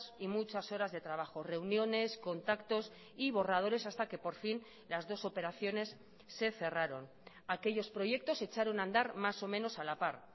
y muchas horas de trabajo reuniones contactos y borradores hasta que por fin las dos operaciones se cerraron aquellos proyectos echaron andar más o menos a la par